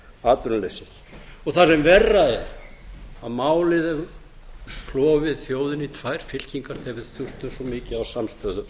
atvinnuleysið og það sem verra er að málið hefur klofið þjóðina í tvær fylkingar þegar við þurftum svo mikið á samstöðu